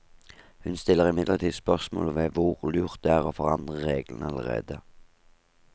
Hun stiller imidlertid spørsmål ved hvor lurt det er å forandre reglene allerede.